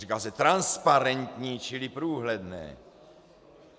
Říká se transparentní čili průhledné.